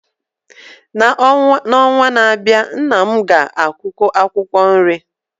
N’ọnwa na-abịa, nna m ga-akụkwu akwụkwọ nri